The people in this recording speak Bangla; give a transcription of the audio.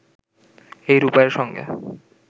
এই রূপাইয়ের সঙ্গে